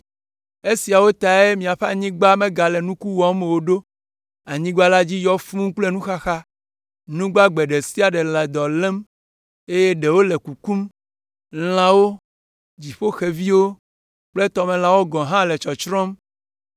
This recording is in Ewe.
Esiawo tae miaƒe anyigba megale nuku wɔm o ɖo, anyigba la dzi yɔ fũu kple nuxaxa, nu gbagbe ɖe sia ɖe le dɔ lém, eye ɖewo le kukum; lãwo, dziƒoxeviwo kple tɔmelãwo gɔ̃ hã le tsɔtsrɔ̃m.